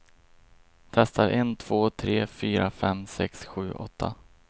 Testar en två tre fyra fem sex sju åtta.